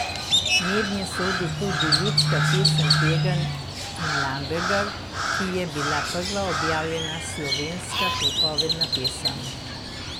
Mednje sodi tudi ljudska pesem Pegam in Lambergar, ki je bila prva objavljena slovenska pripovedna pesem.